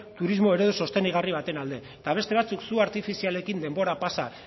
turismo eredu sostengarri baten alde eta beste batzuk su artifizialekin denbora pasa